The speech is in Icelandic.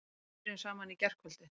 Við byrjuðum saman í gærkvöld.